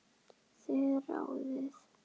Þið ráðið.